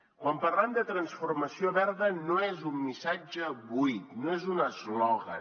quan parlem de transformació verda no és un missatge buit no és un eslògan